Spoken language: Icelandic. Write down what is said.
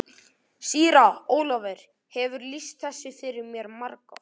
Síra Ólafur hefur lýst þessu fyrir mér margoft.